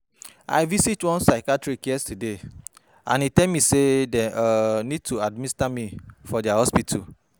I visit one psychiatrist yesterday and e tell me say they um need to administer me for their hospital